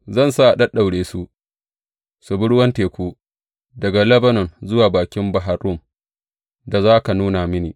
Zan sa a ɗaɗɗaura su su bi ruwan teku daga Lebanon zuwa bakin Bahar Rum da za ka nuna mini.